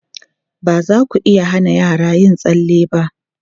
Ba za ku iya hana yara yin tsalle ba.